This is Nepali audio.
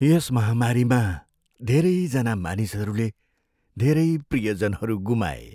यस महामारीमा धेरैजना मानिसहरूले धेरै प्रियजनहरू गुमाए।